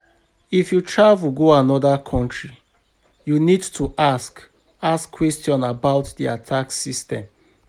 If you travel go anoda country you need to ask ask question about their tax system